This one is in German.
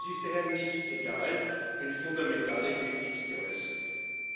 Es ist daher nicht egal, wenn fundamentale Kritik geäußert wird.